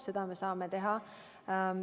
Seda me saame teha.